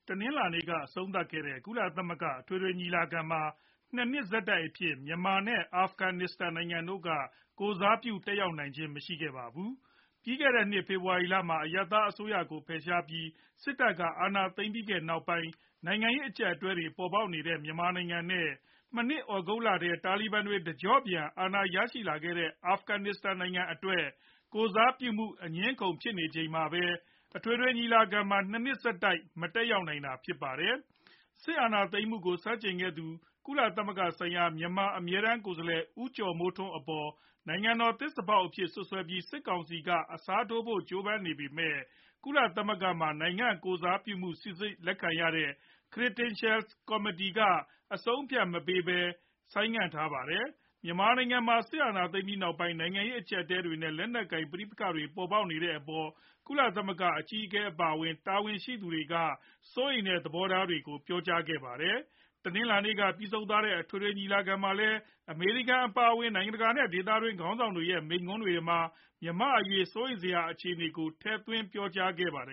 တနင်္လာနေ့က အဆုံးသတ်ခဲ့တဲ့ ကုလသမဂ္ဂ အထွေထွေ ညီလာခံမှာ ၂ နှစ် ဆက်တိုက်အဖြစ် မြန်မာနဲ့ အာဖဂနစ္စတန်နိုင်ငံတို့က ကိုယ်စားပြု တက်ရောက်တာ မရှိခဲ့ကြပါတယ်။ ပြီးခဲ့တဲ့နှစ် ဖေဖော်ဝါရီလက အရပ်သားအစိုးရကို ဖယ်ရှားပြီး စစ်တပ် အာဏာသိမ်းခဲ့တဲ့နောက်ပိုင်း နိုင်ငံရေး အကျပ်အတည်းတွေ ပေါ်ပေါက်နေတဲ့ မြန်မာနိုင်ငံနဲ့ သြဂုတ်လထဲ တာလီဘန်တွေ တကျော့ပြန် အာဏာရခဲ့တဲ့ အာဖဂန်နစ္စတန် နိုင်ငံအတွက် ကိုယ်စားပြုမှု အငြင်းအခုံဖြစ်နေချိန်မှာပဲ အထွေထွေညီလာခံမှာ ၂ နှစ်ဆက်တိုက် မတက်နိုင်ပဲ ဖြစ်နေတာပါ။ စစ်အာဏာသိမ်းမှုကို ဆန့်ကျင်ခဲ့သူ ကုလသမဂ္ဂဆိုင်ရာ မြန်မာအမြဲတမ်း ကိုယ်စားလှယ် ဦးကျော်မိုးထွန်း အပေါ် နိုင်ငံတော် သစ္စာဖောက်အဖြစ် စွပ်စွဲပြီး စစ်ကောင်စီက အစားထိုးဖို့ ကြိုးပမ်းနေပေမဲ့ ကုလသမဂ္ဂမှာ နိုင်ငံကိုယ်စားပြုမှုကို စီစစ်လက်ခံရတဲ့ (Credentials Committee) က အဆုံးအဖြတ်မပေးဘဲ ဆိုင်းငံ့ထားပါတယ်။ မြန်မာနိုင်ငံမှာ စစ်အာဏာသိမ်းပြီးနောက်ပိုင်း နိုင်ငံရေး အကျပ်အတည်းတွေနဲ့ လက်နက်ကိုင် ပဋိပက္ခတွေပေါ်ပေါက်နေတဲ့အပေါ် ကုလသမဂ္ဂ အကြီးအကဲ အပါအဝင် တာဝန်ရှိသူတွေက စိုးရိမ်တဲ့ သဘောထားတွေကိုလည်း ပြောဆိုနေကြတာပါ။ တနင်္လာနေ့က ပြီးဆုံးသွားတဲ့ အထွေထွေညီလာခံမှာလည်း အမေရိကန် အပါအဝင် နိုင်ငံတကာနဲ့ ဒေသတွင်းက ခေါင်းဆောင်တွေရဲ့ မိန့်ခွန်းတွေမှာ မြန်မာ့အရေး စိုးရိမ်စရာ အခြေအနေတွေကို ထည့်သွင်းပြောဆိုခဲ့ကြပါတယ